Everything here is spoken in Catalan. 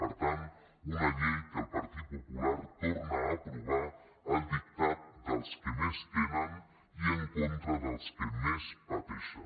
per tant una llei que el partit popular torna a aprovar al dictat dels que més tenen i en contra dels que més pateixen